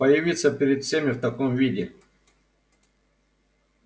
появиться перед всеми в таком виде